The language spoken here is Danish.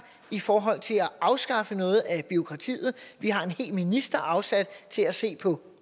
i forhold til at afskaffe noget af bureaukratiet vi har et helt minister afsat til at se på